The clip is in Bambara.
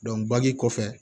kɔfɛ